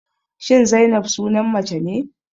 Shin Zainab sunan mace ne?